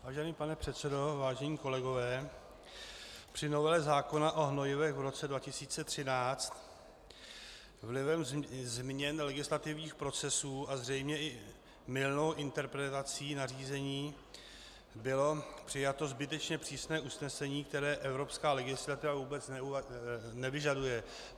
Vážený pane předsedo, vážení kolegové, při novele zákona o hnojivech v roce 2013 vlivem změn legislativních procesů a zřejmě i mylnou interpretací nařízení bylo přijato zbytečně přísné usnesení, které evropská legislativa vůbec nevyžaduje.